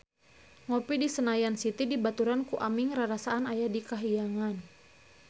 Ngopi di Senayan City dibaturan ku Aming rarasaan aya di kahyangan